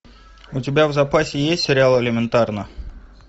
у тебя в запасе есть сериал элементарно